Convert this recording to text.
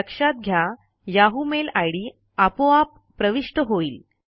लक्षात घ्या Yahoo mail ID आपोआप प्रविष्ट होईल